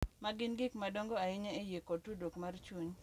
Ma gin gik madongo ahinya e yie kod tudruok mar chuny.